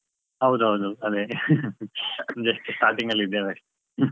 ಹೌದ್ ಹೌದು, ಅದೇ just starting ಲಿ ಇದೇವೆ.